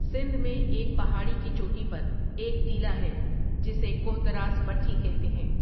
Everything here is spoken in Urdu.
سندھ میں ایک پہاڑی کی چوٹی پر ایک ٹیلہ ہے جسے کوہتر اس بٹھی کہتے ہیں ۔